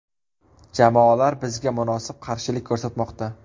Jamoalar bizga munosib qarshilik ko‘rsatmoqda.